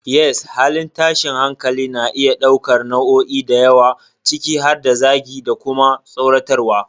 Yes, halin tashin hankali na iya ɗaukar nau'o'i da yawa, ciki har da zagi, da kuma tsoratarwa.